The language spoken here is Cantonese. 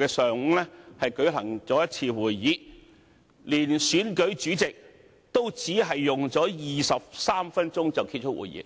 日上午舉行了一次會議，連同選舉主席也只是用了23分鐘便結束會議。